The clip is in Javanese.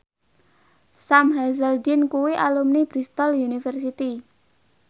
Sam Hazeldine kuwi alumni Bristol university